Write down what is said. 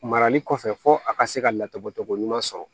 Marali kɔfɛ fo a ka se ka laturubɔ cogo ɲuman sɔrɔ